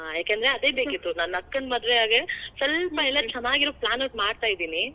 ಯಾಕಂದ್ರೆ ಅದೇ ಬೇಕಿತ್ತು. ನನ್ನ ಅಕ್ಕನ ಮದ್ವೆಯಾಗೆ ಸ್ವಲ್ಪ ಎಲ್ಲಾ ಚೆನ್ನಾಗಿರೋ plans ಮಾಡ್ತೀದಿನಿ.